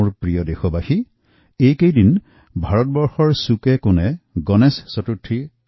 মোৰ প্ৰিয় দেশবাসী শেহতীয়া ভাৰতবৰ্ষৰ সকলোতে প্ৰবল উৎসাহ আৰু উদ্দীপনাৰে গণেশ চতুৰ্থী পালন কৰা হয়